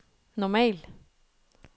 normal